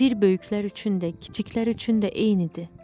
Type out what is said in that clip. Sir böyüklər üçün də, kiçiklər üçün də eynidir.